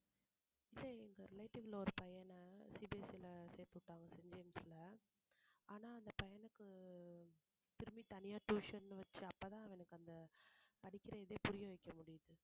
இல்ல எங்க relative ல ஒரு பையனை CBSE ல சேர்த்து விட்டாங்க செயின்ட் ஜேம்ஸ்ல ஆனா அந்த பையனுக்கு திரும்பி தனியா tuition ன்னு வச்சு அப்பதான் அவனுக்கு அந்த படிக்கிற இதே புரிய வைக்க முடியுது